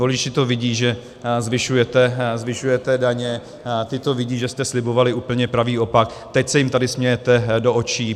Voliči to vidí, že zvyšujete daně, ti to vidí, že jste slibovali úplně pravý opak, teď se jim tady smějete do očí.